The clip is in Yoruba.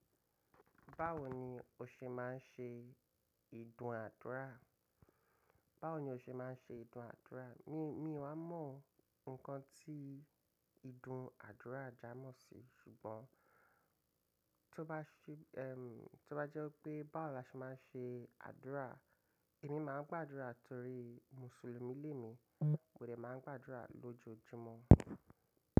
Báwo ni o ṣe máa ń ṣe ìdúnàdúrà? Báwo ni o ṣe má ń ṣe ìdúnàádúrà? Mi, mi wá mọ nǹkan tí ìdúnádúrà jámọ̀ sí. Ṣùgbọ́n tó bá ṣẹ, ẹm, tó bá jẹ́ pé báwo la ṣe maá ń ṣe àdúrà, èmi máa ń gbàdúrà torí mùsùlùmí lé mi. Mọ dé máa ń gbàdúrà lójojúmọ́.